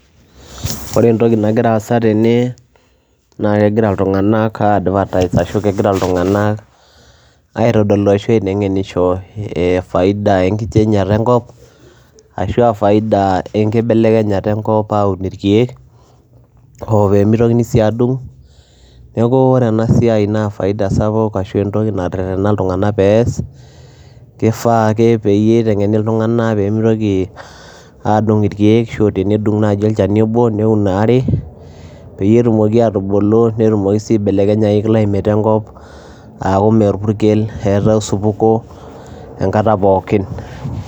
Ore entoki nagira aasa tene naake egira iltung'anak aiadvertise ashu kegira iltung'anak aitodolu ashu aiteng'enisho e faida enkichangeata enkop ashu a faida enkibelekenyata enkop aun irkeek oo pee mitokini sii adung'. Neeku ore ena siai naa faida sapuk ashu entoki natererena iltung'anak pee ees kifaa ake peyie iteng'eni iltung'anak pee mitoki aadung' irkeek ashu tenedung' nai olchani obo neun aare peyie etumoki aatubulu netumoki sii aibelekenyayu climate enkop aaku mee orpukel eetai osupuko enkata pookin.